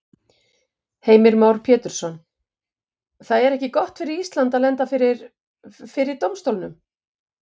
Heimir Már Pétursson: Það er ekki gott fyrir Ísland að lenda fyrir, fyrir dómstólnum?